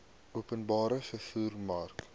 openbare vervoer mark